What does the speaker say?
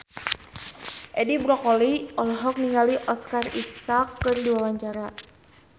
Edi Brokoli olohok ningali Oscar Isaac keur diwawancara